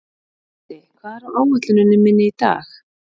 Haddi, hvað er á áætluninni minni í dag?